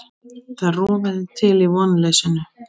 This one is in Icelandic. Það rofaði til í vonleysinu.